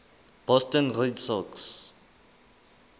boston red sox